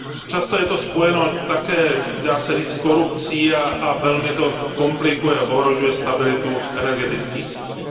Často je to spojeno také, dá se říci, s korupcí a velmi to komplikuje a ohrožuje stabilitu energetických sítí.